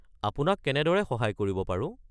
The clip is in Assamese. আপোনাক কেনেদৰে সহায় কৰিব পাৰো?